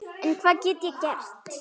En hvað get ég gert?